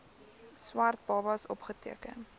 swart babas opgeteken